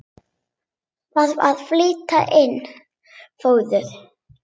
Þarf að flytja inn fóður?